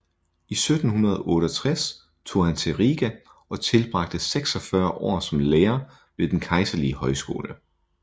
I 1768 tog han til Riga og tilbragte 46 år som lærer ved den kejserlige højskole